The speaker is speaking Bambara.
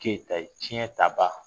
Keyita ye tiɲɛ taba